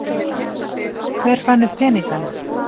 hver fann upp peningana